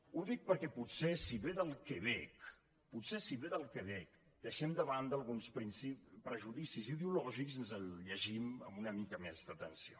ho dic perquè potser si ve del quebec potser si ve del quebec deixem de banda alguns prejudicis ideològics i ens el llegim amb una mica més d’atenció